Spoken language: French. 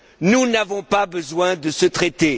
Nous n'avons pas besoin de ce traité.